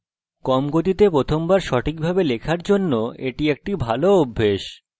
কম গতিতে প্রথম বার সঠিকভাবে লেখার জন্য এটি একটি ভালো অভ্যাস